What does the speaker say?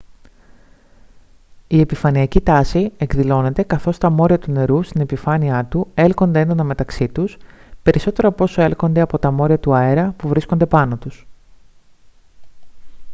η επιφανειακή τάση εκδηλώνεται καθώς τα μόρια του νερού στην επιφάνειά του έλκονται έντονα μεταξύ τους περισσότερο από όσο έλκονται από τα μόρια του αέρα που βρίσκονται από πάνω τους